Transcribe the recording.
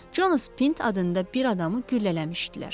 Jonas Pint adında bir adamı güllələmişdilər.